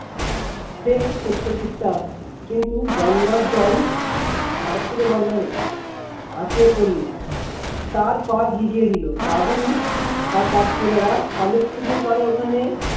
সে ছুটতে ছুটতে আসছে কিন্তু বন্যার জল আসরে বন্নারে আছড়ে পড়ল তার পা ভিজিয়ে দিল দাদু আর তার ছেলের শালুক পুকুরপারের ওখানে